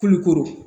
Kulukoro